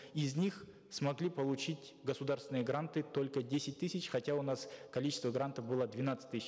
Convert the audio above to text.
из них смогли получить государственные гранты только десять тысяч хотя у нас количество грантов было двенадцать тысяч